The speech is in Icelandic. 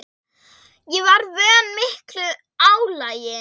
Ég var vön miklu álagi.